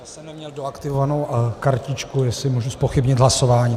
Já jsem neměl doaktivovanou kartičku, jestli můžu zpochybnit hlasování.